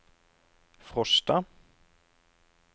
Frosta